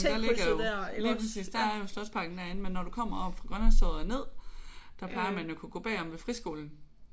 Der ligger jo lige præcis der er jo Slotsparken derinde. Men når du kommer oppe fra Grønlandstorvet og ned der plejer man jo at kunne gå bagom ved friskolen